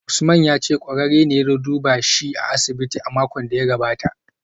Usman ya ce kwararre ne ya zo duba shi a asibiti a makon da ya gabata